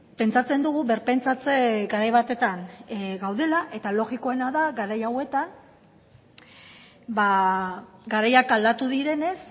pentsatzen dugu birpentsatze garai batetan gaudela eta logikoena da garai hauetan garaiak aldatu direnez